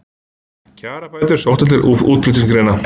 Kjarabætur sóttar til útflutningsgreina